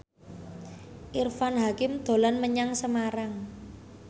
Irfan Hakim dolan menyang Semarang